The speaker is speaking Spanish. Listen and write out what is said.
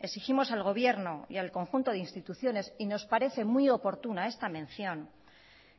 exigimos al gobierno y al conjunto de instituciones y nos parece muy oportuna esta mención